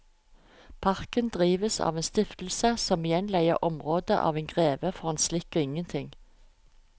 Parken drives av en stiftelse som igjen leier området av en greve for en slikk og ingenting.